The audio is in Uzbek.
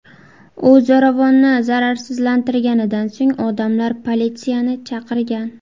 U zo‘ravonni zararsizlantirganidan so‘ng odamlar politsiyani chaqirgan.